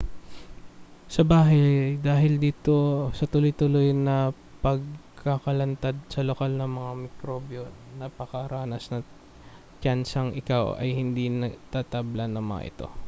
sa bahay dahil sa dito sa tuloy-tuloy na pagkakalantad sa lokal na mga mikrobyo napakataas ng tiyansang ikaw ay hindi na tatablan ng mga ito